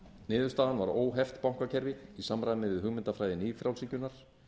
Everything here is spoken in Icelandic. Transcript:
niðurstaðan var óheft bankakerfi ís samræmi við hugmyndafræði nýfrjálshyggjunnar